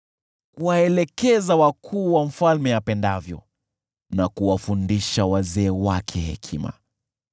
kuwaelekeza wakuu wa mfalme apendavyo na kuwafundisha wazee wake hekima.